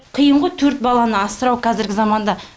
қиынғой төрт баланы асырау қазіргі заманда